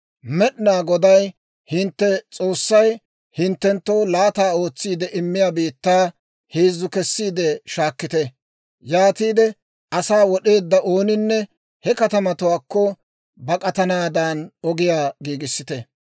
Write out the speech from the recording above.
Med'inaa Goday hintte S'oossay hinttenttoo laata ootsiide immiyaa biittaa heezzu kessiide shaakkite. Yaatiide asaa wod'eedda ooninne he katamatuwaakko bak'atanaadan ogiyaa giigissite.